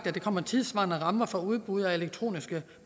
at der kommer tidssvarende rammer for udbud af elektroniske